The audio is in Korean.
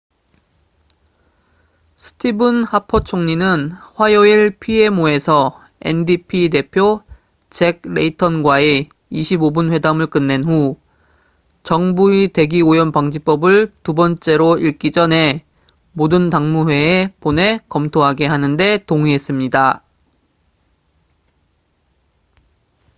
스티븐 하퍼 총리는 화요일 pmo에서 ndp 대표 잭 레이턴과의 25분 회담을 끝낸 후 정부의 대기 오염 방지법'을 두 번째로 읽기 전에 모든 당무회에 보내 검토하게 하는데 동의했습니다